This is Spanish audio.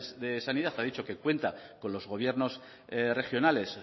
de sanidad ha dicho que cuenta con los gobiernos regionales